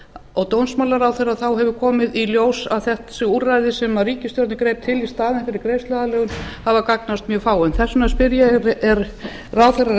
og dómsmálaráðherra þá hefur komið í ljós að þessi úrræði sem ríkisstjórnin greip til í staðinn fyrir greiðsluaðlögun hefur gagnast mjög fáum þess vegna spyr ég er ráðherra